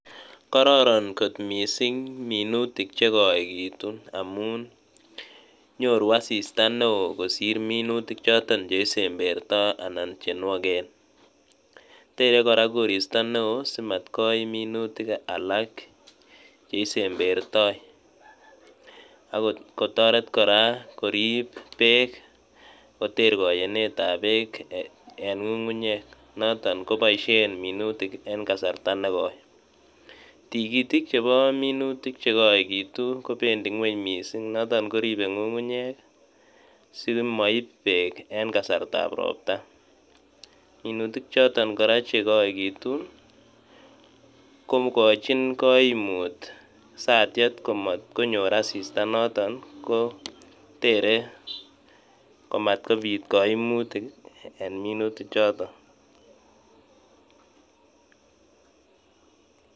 Kororon missing minutik jekoekittun amun nyoruu asista neon kosir chesemberto anan jenuoken tere korag koristo neo simatkoim minutik alak jeisembertoi ok kotoret korag korib beek koter koyeneet ab beek en ngungunyeek noton koboisien minutik en kasarta nekoi tikiitik jebo minuutik jekoekittu koo bendii ngweny mising noton koribe ngungunyeek ii, simoib beek en kasartab ropta minutiik choton korag chekoekitu kokojiin koimut satiet komotkonyor asista noton ko tere komatkobit koimutiik en minutik joton